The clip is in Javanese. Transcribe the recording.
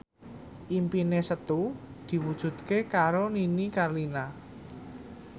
impine Setu diwujudke karo Nini Carlina